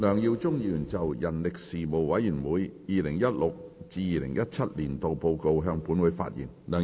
梁耀忠議員就"人力事務委員會 2016-2017 年度報告"向本會發言。